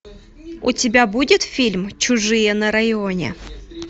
у тебя будет фильм чужие на районе